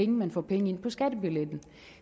man får penge ind på skattebilletten